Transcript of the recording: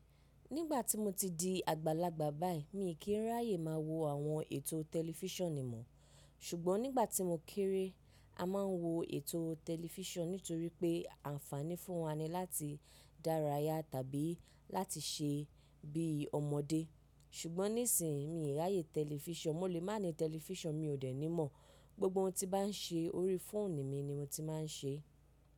Nígbà tí mo ti di àgbàlagbà báyìí, mi ò kí ń ráyè máa wo àwọn ètò tẹlifísàn nimọ́. Ṣùgbọ́n nígbà tí mo kéré, a máa ń wo ètò tẹlifísàn nítorí pé ànfàní fún wa ni láti dárayá tàbí láti ṣe bí ọmọdé. Ṣùgbọ́n nísìínyi mí ráyè tẹlifísàn, mo lè má ní tẹlifísàn mi ò dènì mọ̀. Gbogbo ohun tí bá ń ṣe orí fóònù mi ni mo ti máa ń ṣe.